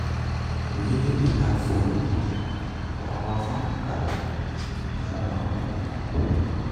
we even dey add fuel moni for our farm okada inside our moni plan.